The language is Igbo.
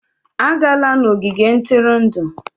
Agala n'ogige ntụrụndụ!